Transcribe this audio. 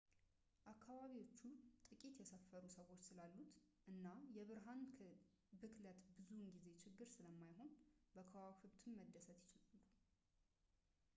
አከባቢዎቹ ጥቂት የሰፈሩ ሰዎች ስላሉበት እና የብርሃን ብክለት ብዙውን ጊዜ ችግር ስለማይሆን በከዋክብትም መደሰት ይችላሉ